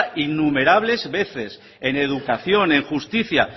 innumerables veces en educación en justicia